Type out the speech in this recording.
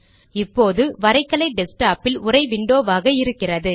இப்போது வரைகலை டெஸ்க்டாப்பில் உரை விண்டோவாக இருக்கிறது